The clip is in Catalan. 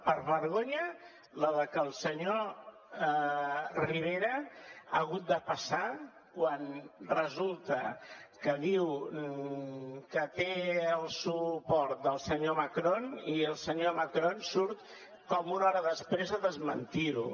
per vergonya la que el senyor rivera ha hagut de passar quan resulta que diu que té el suport del senyor macron i el senyor macron surt com una hora després a desmentir ho